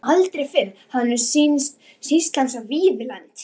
Aldrei fyrr hafði honum sýnst sýslan svo víðlend.